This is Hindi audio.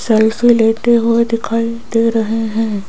सेल्फी लेते हुए दिखाई दे रहे हैं।